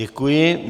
Děkuji.